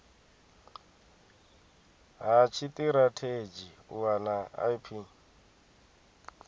ha tshitirathedzhi u wana ip